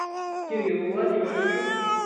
кириллу владимировичу